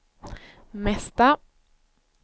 mesta